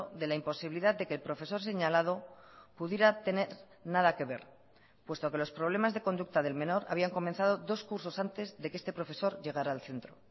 de la imposibilidad de que el profesor señalado pudiera tener nada que ver puesto que los problemas de conducta del menor habían comenzado dos cursos antes de que este profesor llegara al centro